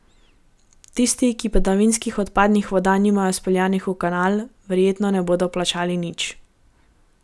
Tisti, ki padavinskih odpadnih voda nimajo speljanih v kanal, verjetno ne bodo plačali nič.